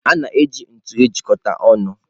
A na-eji ntu ejikọta ọnụ.